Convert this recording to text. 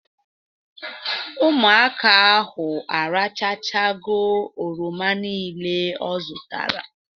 Ụmụaka ahụ arachachago oroma nile ọ zụtara